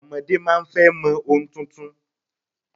Ọmọdé máa ń fẹ́ mọ ohun tuntun